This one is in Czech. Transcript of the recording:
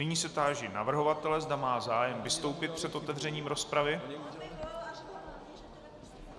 Nyní se táži navrhovatele, zda má zájem vystoupit před otevřením rozpravy.